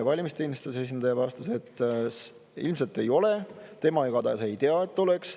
Valimisteenistuse esindaja vastas, et ilmselt ei ole, tema igatahes ei tea, et oleks.